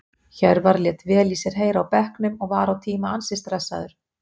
Hjörvar lét vel í sér heyra á bekknum og var á tíma ansi stressaður.